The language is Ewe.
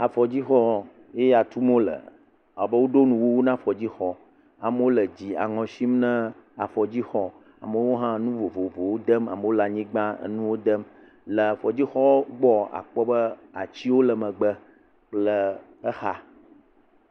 Afɔdzixɔ ye ya tum wole, ewɔ abe woɖo nuwuwu na afɔdzixɔ, amewo le dzi aŋɔ sim na afɔdzixɔ amewo hã nu vovovowo dem amewo le anyigba enuwo dem, le afɔdzixɔa gbɔa akpɔ be atiwo le megbe kple exa.